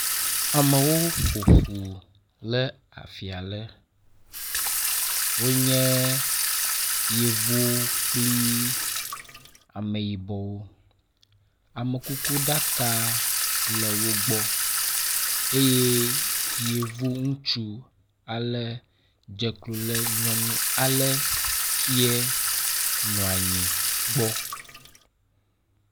Amewo ƒo ƒu le afia ɖe. Wonye yevuwo kpli ameyibɔwo. Amekukuɖaka le wo gbɔ eye yevu ŋutsu ale dze klo le yɔvunyɔnu ale kie nɔanyi gbɔ.